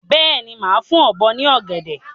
Bẹ́ẹ̀ni, máa fún ọ̀bọ ní ọ̀gẹ̀dẹ̀.